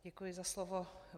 Děkuji za slovo.